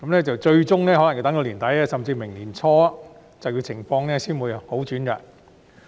最終可能要到年底，甚至明年年初，就業情況才會好轉。